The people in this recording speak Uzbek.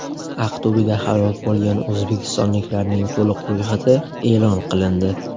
Aqto‘beda halok bo‘lgan o‘zbekistonliklarning to‘liq ro‘yxati e’lon qilindi.